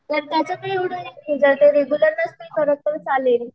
तर त्याच एवढ नसत जर ती रेगुलर नसेल करत तर चालते